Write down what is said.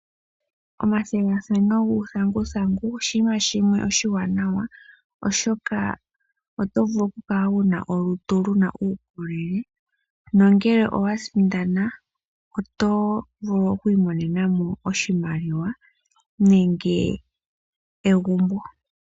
Omathigathano guuthanguthangu oshinima shimwe oshiwanawa, oshoka oto vulu okukala wuna olutu luna uukolele, nongele owa sindana, oto vulu oku imonena mo oshimaliwa, nenge egumbo.